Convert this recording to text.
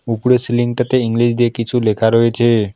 উপরে সিলিংটাতে ইংলিশ দিয়ে কিছু লেখা রয়েছে।